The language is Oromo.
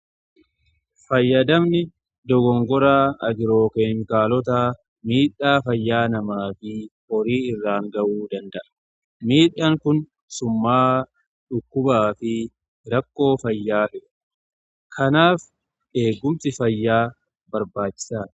Fayyadamni dogongoraa agiroo-keemikaalota miidhaa fayyaa namaa fi horii irraan ga'uu danda'a. Miidhaan kun summa'aa dhukkubaa fi rakkoo fayyaati. Kanaaf eegumsi fayyaa barbaachisaadha.